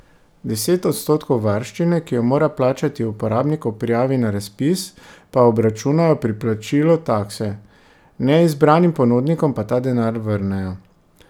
Deset odstotkov varščine, ki jo mora plačati uporabnik ob prijavi na razpis, pa obračunajo pri plačilu takse, neizbranim ponudnikom pa ta denar vrnejo.